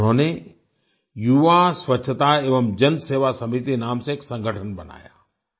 उन्होंने युवा स्वच्छता एवं जन सेवा समिति नाम से एक संगठन बनाया